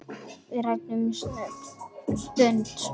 Við ræðum nudd um stund.